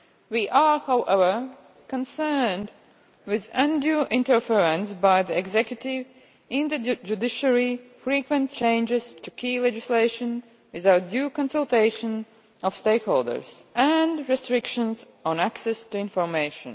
We are, however, concerned about undue interference by the executive in the judiciary, frequent changes to key legislation without the due consultation of stakeholders, and restrictions on access to information.